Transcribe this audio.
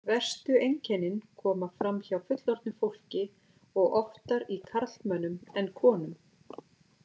Verstu einkennin koma fram hjá fullorðnu fólki og oftar í karlmönnum en konum.